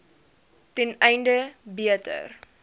ten einde beter